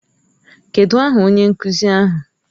Kedụ aha onye nkuzi ahụ?